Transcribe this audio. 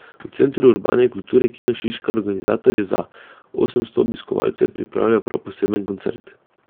V Centru urbane kulture Kino Šiška organizatorji za osemsto obiskovalcev pripravljajo prav poseben koncert.